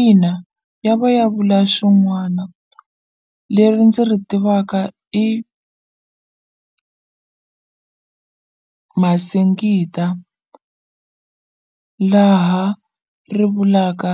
Ina ya va ya vula swin'wana leri ndzi ri tivaka i Masingita laha ri vulaka